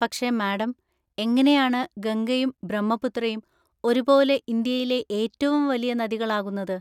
പക്ഷേ മാഡം, എങ്ങനെയാണ് ഗംഗയും ബ്രഹ്മപുത്രയും ഒരുപോലെ ഇന്ത്യയിലെ ഏറ്റവും വലിയ നദികളാകുന്നത്?